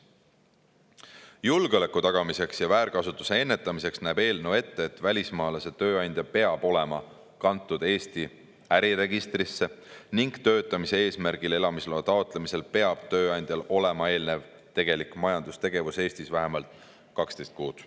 Julgeoleku tagamiseks ja väärkasutuste ennetamiseks näeb eelnõu ette, et välismaalase tööandja peab olema kantud Eesti äriregistrisse ning töötamise eesmärgil elamisloa taotlemisel peab tööandjal olema eelnev tegelik majandustegevus Eestis vähemalt 12 kuud.